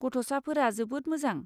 गथ'साफोरा जोबोद मोजां।